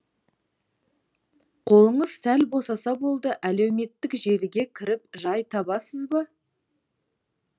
қолыңыз сәл босаса болды әлеуметтік желіге кіріп жай табасыз ба